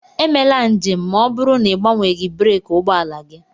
Emela njem ma ọ bụrụ na ị gbanweeghị breeki ụgbọ ala gị!